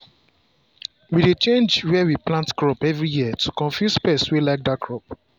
we dey change where we plant crop every year to confuse pest wey like that crop